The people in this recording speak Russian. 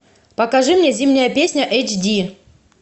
покажи мне зимняя песня эйч ди